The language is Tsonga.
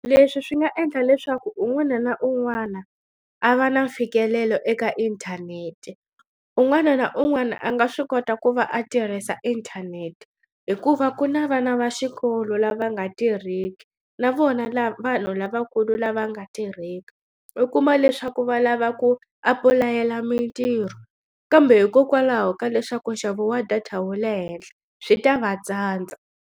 Leswi swi nga endla leswaku un'wana na un'wana a va na mfikelelo eka inthanete un'wana na un'wana a nga swi kota ku va a tirhisa inthanete hikuva ku na vana va xikolo lava nga tirhiki na vona vanhu lavakulu lava nga tirheki u kuma leswaku va lava ku apulayela mitirho kambe hikokwalaho ka leswaku nxavo wa data wu le henhla swi ta va tsandza.